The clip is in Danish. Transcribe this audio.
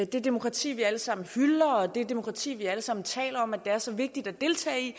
det demokrati vi alle sammen hylder og det demokrati vi alle sammen taler om er så vigtigt at deltage i